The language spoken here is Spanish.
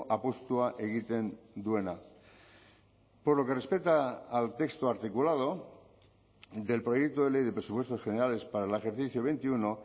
apustua egiten duena por lo que respeta al texto articulado del proyecto de ley de presupuestos generales para el ejercicio veintiuno